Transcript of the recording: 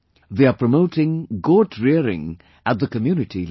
They are promoting goat rearing at the community level